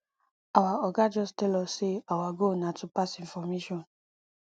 our oga just tell us say our goal na to pass information